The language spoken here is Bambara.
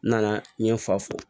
N nana n ye n fa fo